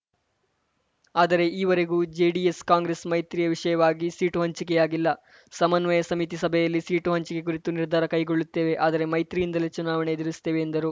ಆದರೆ ಈವರೆಗೂ ಜೆಡಿಎಸ್‌ ಕಾಂಗ್ರೆಸ್‌ ಮೈತ್ರಿಯ ವಿಷಯವಾಗಿ ಸೀಟು ಹಂಚಿಕೆಯಾಗಿಲ್ಲ ಸಮನ್ವಯ ಸಮಿತಿ ಸಭೆಯಲ್ಲಿ ಸೀಟು ಹಂಚಿಕೆ ಕುರಿತು ನಿರ್ಧಾರ ಕೈಗೊಳ್ಳುತ್ತೇವೆ ಆದರೆ ಮೈತ್ರಿಯಿಂದಲೇ ಚುನಾವಣೆ ಎದುರಿಸುತ್ತೇವೆ ಎಂದರು